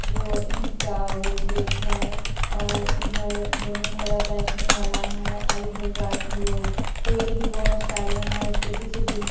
वो ईंट का वो गेट है और इधर दोनों तरफ बैठने वाला है और इधर पेड़ भी बहोत सारे हैं उसके पीछे बिल्डिंग --